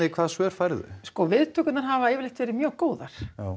hvaða svör færðu viðtökurnar hafa yfirleitt verið mjög góðar